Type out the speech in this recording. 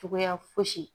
Cogoya fosi ye